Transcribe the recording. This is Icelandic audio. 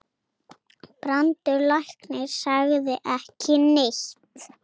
Brandur læknir sagði ekki neitt.